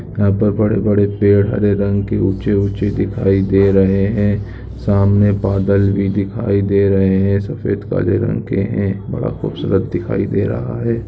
यहाँ पर बड़े-बड़े पेड़ हरे रंग के ऊँचे- ऊँचे दिखाई दे रहे है| सामने बादल भी दिखाई दे रहे है| सफ़ेद काले रंग के है| बड़ा खूबसूरत दिखाई दे रहा है।